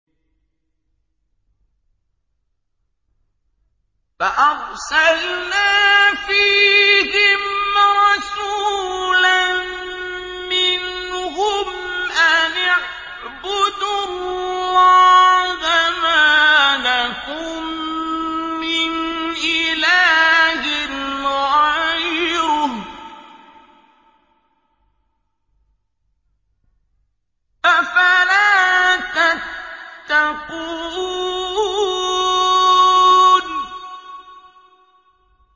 فَأَرْسَلْنَا فِيهِمْ رَسُولًا مِّنْهُمْ أَنِ اعْبُدُوا اللَّهَ مَا لَكُم مِّنْ إِلَٰهٍ غَيْرُهُ ۖ أَفَلَا تَتَّقُونَ